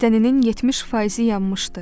Bədəninin 70%-i yanmışdı.